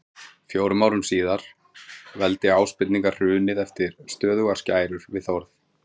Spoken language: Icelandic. Fjórum árum síðar var veldi Ásbirninga hrunið eftir stöðugar skærur við Þórð.